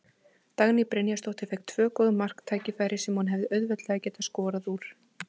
Dagný Brynjarsdóttir fékk tvö góð marktækifæri sem hún hefði auðveldlega getað skorað úr.